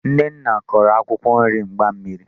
Nnenna koro akwụkwọ nri mgbammiri.